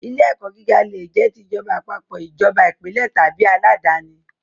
Ilé ẹ̀kọ́ gíga le jẹ́ ti ìjọba àpapọ̀, ìjọba ìpínlẹ̀ tàbí aládàníi